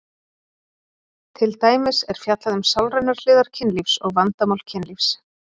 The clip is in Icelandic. Til dæmis er fjallað um sálrænar hliðar kynlífs og vandamál kynlífs.